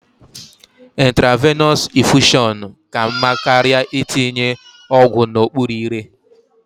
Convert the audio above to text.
Intravenọs infushọn ka mma karịa itinye ọgwụ a n'okpuru ire.